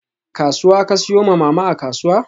Kasuwa ka siyo ma Mama a kasuwa?